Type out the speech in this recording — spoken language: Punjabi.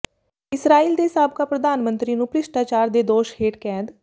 ਇਸਰਾਈਲ ਦੇ ਸਾਬਕਾ ਪ੍ਰਧਾਨ ਮੰਤਰੀ ਨੂੰ ਭ੍ਰਿਸ਼ਟਾਚਾਰ ਦੇ ਦੋਸ਼ ਹੇਠ ਕੈਦ